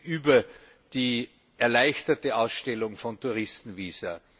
über die erleichterte Ausstellung von Touristenvisa.